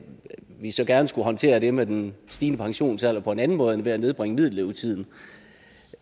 vi så gerne skulle håndtere det med den stigende pensionsalder på en anden måde end ved at nedbringe middellevetiden